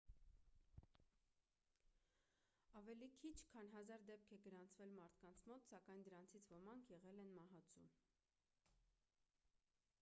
ավելի քիչ քան հազար դեպք է գրանցվել մարդկանց մոտ սակայն դրանցից ոմանք եղել են մահացու